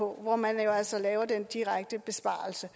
hvor man jo altså laver den direkte besparelse